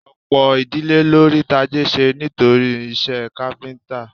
Ọ̀pọ̀ ìdílé ló rí tajé ṣe nítorí iṣẹ́ káfíńtà